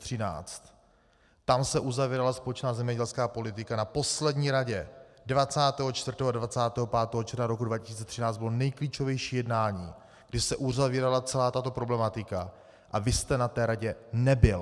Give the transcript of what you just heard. Tam se uzavírala společná zemědělská politika, na poslední radě 24. a 25. června roku 2013 bylo nejklíčovější jednání, kdy se uzavírala celá tato problematika, a vy jste na té radě nebyl.